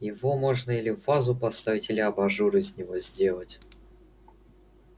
его можно или в вазу поставить или абажур из него сделать